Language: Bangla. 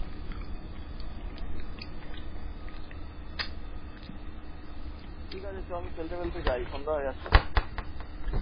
ঠিকাছে চ আমি খেলতে তেলতে যাই সন্ধ্যা হয়ে যাচ্ছে।